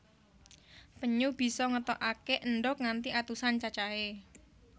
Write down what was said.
Penyu bisa ngetokaké endhog nganti atusan cacahé